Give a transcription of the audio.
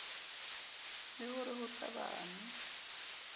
le ho re ho tshabanwe